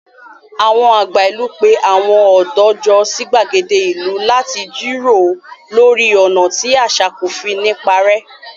Àwọn àgbà ìlú pé àwọn ọ̀dọ́ jọ sí gbàgede ìlú láti jíròrò lórí ọ̀nà tí àṣà kò fi ní parẹ́.